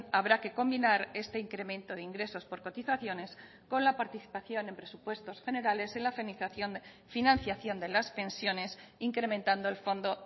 habrá que combinar este incremento de ingresos por cotizaciones con la participación en presupuestos generales en la financiación de las pensiones incrementando el fondo